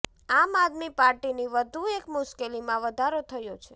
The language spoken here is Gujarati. આમ આદમી પાર્ટીની વધુ એક મુશ્કેલીમાં વધારો થયો છે